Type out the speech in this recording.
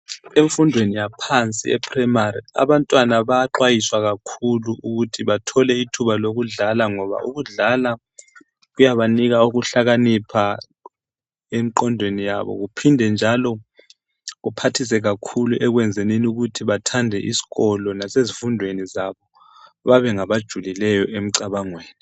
Emfundweni yaphansi e primary abantwana bayaxwayiswa kakhulu ukuthi bathole ithuba lokudlala ngoba ukudlala kuyabanika ukuhlakanipha, emqondweni yabo kuphindenjalo kuphathise kakhulu ekwenzenini ukuthi bathande isikolo bathande isikolo nasezifundweni zabo babe ngabajulileyo emicabangweni yabo.